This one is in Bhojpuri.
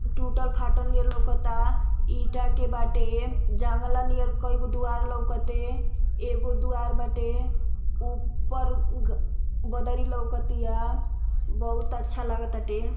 टूटल फाटल नियर लउकता। ईटा के बाटे। जांगला नियर कई गो दुआर लउकते। एगो दुआर बाटे। ऊपर उग बदरी लउकतिया। बहुत अच्छा लागताटे।